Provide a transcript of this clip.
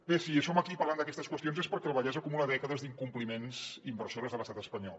bé si som aquí parlant d’aquestes qüestions és perquè el vallès acumula dècades d’incompliments inversors de l’estat espanyol